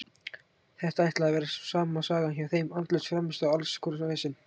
Þetta ætlaði að vera sama sagan hjá þeim, andlaus frammistaða og alls konar vesen.